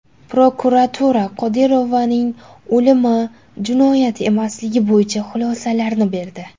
Prokuratura Qodirovaning o‘limi jinoyat emasligi bo‘yicha xulosalarni berdi.